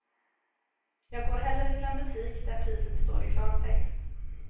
Jag går hellre till en butik, där priset står i klartext.